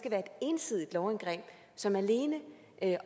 ensidigt lovindgreb som alene